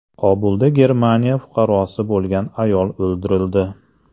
Kobulda Germaniya fuqarosi bo‘lgan ayol o‘ldirildi.